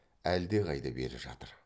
әлдеқайда бері жатыр